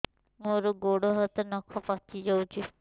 ମୋର ଗୋଡ଼ ହାତ ନଖ ପାଚି ଯାଉଛି